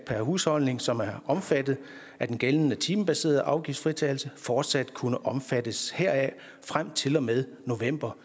per husholdning som er omfattet af den gældende timebaserede afgiftsfritagelse fortsat kunne omfattes heraf frem til og med november